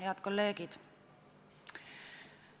Head kolleegid!